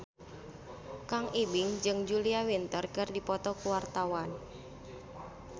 Kang Ibing jeung Julia Winter keur dipoto ku wartawan